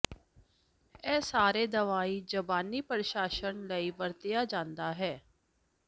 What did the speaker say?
ਇਹ ਸਾਰੇ ਦਵਾਈ ਜ਼ਬਾਨੀ ਪ੍ਰਸ਼ਾਸਨ ਲਈ ਵਰਤਿਆ ਜਾਦਾ ਹੈ